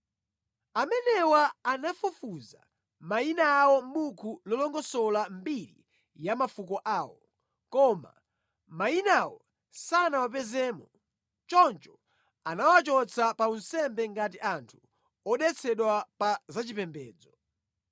Amenewa anafufuza mayina awo mʼbuku lofotokoza mbiri ya mafuko awo, koma mayinawo sanawapezemo, choncho anawachotsa pa unsembe ngati anthu odetsedwa pa zachipembedzo.